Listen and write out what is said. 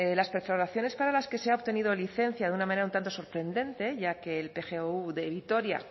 las perforaciones para las que se ha obtenido licencia de una manera un tanto sorprendente ya que el pgou de vitoria